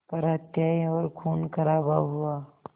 पर हत्याएं और ख़ूनख़राबा हुआ